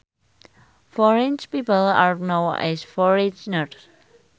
Foreign people are known as foreigners